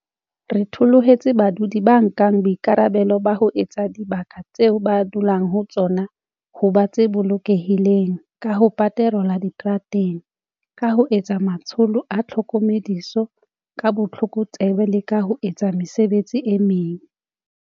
Re thoholetsa badudi ba nkang boikarabelo ba ho etsa dibaka tseo ba dulang ho tsona ho ba tse bolokehileng ka ho paterola diterateng, ka ho etsa matsholo a tlhokomediso ka botlokotsebe le ka ho etsa mesebetsi e meng.